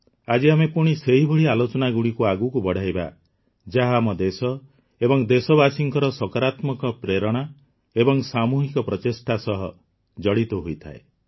ଆଜି ଆମେ ପୁଣି ସେହିଭଳି ଆଲୋଚନାଗୁଡ଼ିକୁ ଆଗକୁ ବଢ଼ାଇବା ଯାହା ଆମ ଦେଶ ଏବଂ ଦେଶବାସୀଙ୍କ ସକାରାତ୍ମକ ପ୍ରେରଣା ଏବଂ ସାମୂହିକ ପ୍ରଚେଷ୍ଟା ସହ ଜଡ଼ିତ ହୋଇଥାଏ